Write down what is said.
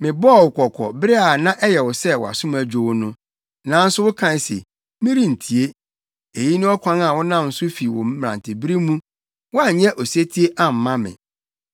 Mebɔɔ wo kɔkɔ, bere a na ɛyɛ wo sɛ wʼasom adwo wo no, nanso wokae se, ‘Merentie!’ Eyi ne ɔkwan a wonam so fi wo mmerantebere mu; woanyɛ osetie amma me.